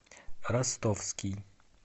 ростовский